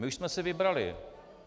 My už jsme si vybrali.